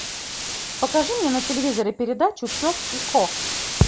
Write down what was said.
покажи мне на телевизоре передачу пес и кот